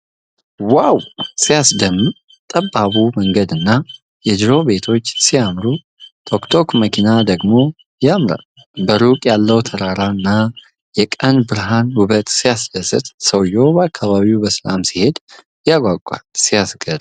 ዋው! ሲያስደምም! ጠባቡ መንገድና የድሮ ቤቶች ሲያምሩ! ቶክ ቶክ መኪናዋ ደግሞ ያምራል። በሩቅ ያለው ተራራና የቀን ብርሃን ውበት ሲያስደስት! ሰውዬው በአካባቢው በሰላም ሲሄድ ያጓጓል። ሲያስገርም!